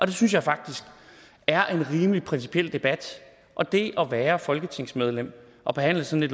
det synes jeg faktisk er en rimelig principiel debat og det at være folketingsmedlem og behandle sådan